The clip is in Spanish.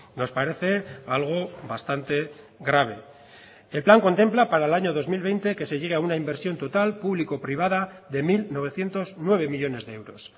nos parece algo bastante grave el plan contempla para el año dos mil veinte que se llegue a una inversión total público privada de mil novecientos nueve millónes de euros